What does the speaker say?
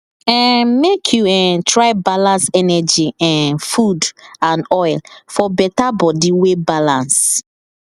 um make you um try balance energy um food and oil for better body wey balance